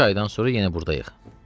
Üç aydan sonra yenə burdayıq.